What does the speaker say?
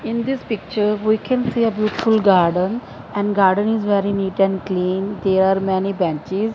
in this picture we can see a beautiful garden and garden is very neat and clean there are many branches.